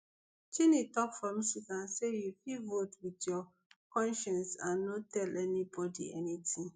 cheney tok for michigan say you fit vote wit your conscience and no tell anybodi anytin